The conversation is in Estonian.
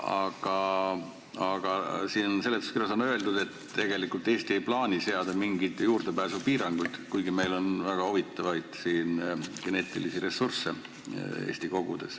Aga siin seletuskirjas on öeldud, et tegelikult Eesti ei plaani seada mingeid juurdepääsupiiranguid, kuigi Eesti kogudes on väga huvitavaid geneetilisi ressursse.